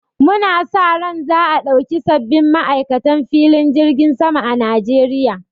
Mu na sa ran a ɗauki sabbin ma'aikatan filin jirgin sama a Najeriya